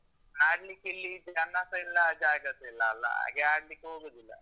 ಆಡ್ಲಿಕ್ಕಿಲ್ಲಿ ಜನ್ನಸ ಇಲ್ಲ, ಜಾಗ ಸ ಇಲ್ಲಲ್ಲ? ಹಾಗೆ ಆಡ್ಲಿಕ್ಕೆ ಹೋಗುದಿಲ್ಲ.